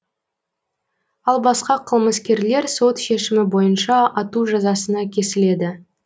ал басқа қылмыскерлер сот шешімі бойынша ату жазасына кесіледі